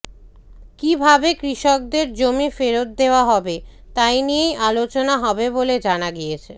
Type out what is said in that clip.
কী ভাবে কৃষকদের জমি ফেরত দেওয়া হবে তাই নিয়েই আলোচনা হবে বলে জানা গিয়েছে